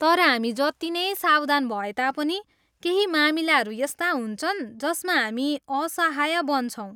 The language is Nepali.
तर हामी जति नै सावधान भए तापनि, केही मामिलाहरू यस्ता हुन्छन् जसमा हामी असाहय बन्छौँ।